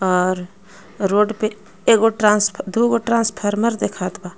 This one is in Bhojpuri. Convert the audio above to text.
और रोड पे एगो ट्रांस दू गो ट्रांसफार्मर देखात बा।